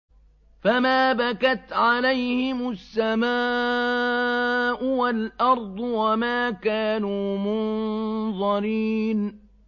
فَمَا بَكَتْ عَلَيْهِمُ السَّمَاءُ وَالْأَرْضُ وَمَا كَانُوا مُنظَرِينَ